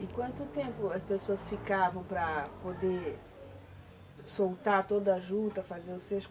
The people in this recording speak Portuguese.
E quanto tempo as pessoas ficavam para poder soltar toda a juta, fazer os seus?